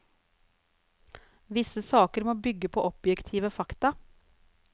Visse saker må bygge på objektive fakta.